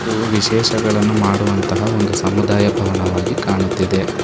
ಹಾಗು ವಿಶೇಷಗಳನ್ನು ಮಾಡುವಂತಹ ಒಂದು ಸಮುದಾಯ ಭವನವಾಗಿ ಕಾಣುತ್ತಿದೆ.